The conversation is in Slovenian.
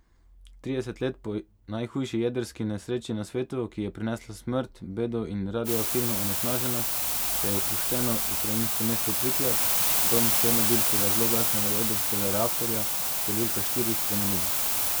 Trideset let po najhujši jedrski nesreči na svetu, ki je prinesla smrt, bedo in radioaktivno onesnaženost, se je opuščeno ukrajinsko mesto Pripjat, dom černobilskega zloglasnega jedrskega reaktorja številka štiri, spremenilo.